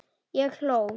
Ég hló.